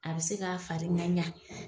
A bi se k'a fari ŋaɲa